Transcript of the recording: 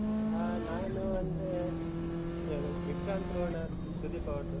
ಹ ನಾನು ಅಂದ್ರೆ ಕೆಲವ್ ವಿಕ್ರಾಂತ್ ರೋಣ ಸುದೀಪ್ ಅವರದ್ದು.